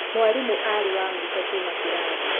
Mwarimũ arĩ wa mũico kuuma kĩrathi.